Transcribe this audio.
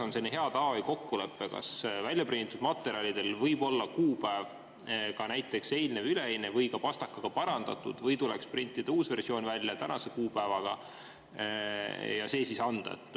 Aga milline on hea tava või kokkulepe: kas väljaprinditud materjalidel võib olla ka näiteks eilne või üleeilne kuupäev või võib seda pastakaga parandada või tuleks printida uus versioon tänase kuupäevaga ja see üle anda?